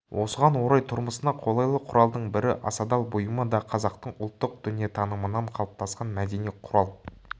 осыған орай тұрмысына қолайлы құралдың бірі асадал бұйымы да қазақтың ұлттық дүниетанымынан қалыптасқан мәдени құрал